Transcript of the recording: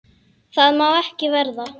Það má ekki verða.